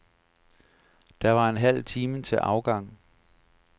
Der var en halv time til afgang.